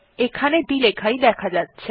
এখানে দুটি লেখাই দেখা যাচ্ছে